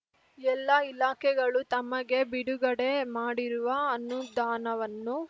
ಎಲ್ಲಾ ಇಲಾಖೆಗಳು ತಮಗೆ ಬಿಡುಗಡೆ ಮಾಡಿರುವ ಅನುದಾನವನ್ನು